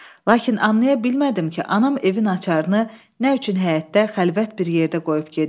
Lakin anlaya bilmədim ki, anam evin açarını nə üçün həyətdə xəlvət bir yerdə qoyub gedir.